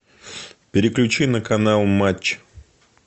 переключи на канал матч